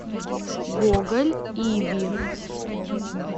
гоголь иви